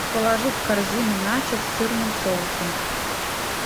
положи в корзину начос с сырным соусом